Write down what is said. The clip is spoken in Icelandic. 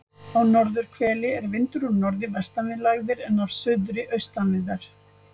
Á norðurhveli er vindur úr norðri vestan við lægðir en af suðri austan við þær.